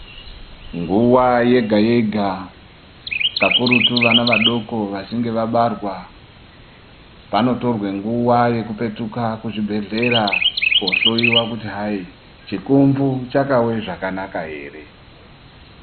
Nguwa yega yega kakurutu vana vachinge vabarwa panotorwa nguwa yekuoetuka kuzvibhedhlera kohloiwa kuti hai chikumvu chakawe zvakanaka ere.